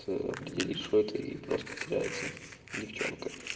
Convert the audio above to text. ца определить что это и просто теряется девчонка